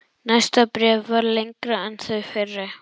Næsta bréf var lengra en þau fyrri.